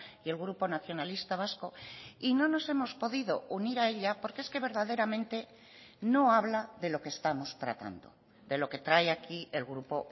y el grupo nacionalista vasco y no nos hemos podido unir a ella porque es que verdaderamente no habla de lo que estamos tratando de lo que trae aquí el grupo